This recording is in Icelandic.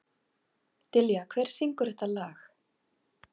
Dilja, hver syngur þetta lag?